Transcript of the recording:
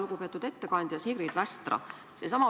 Lugupeetud ettekandja Sigrid Västra!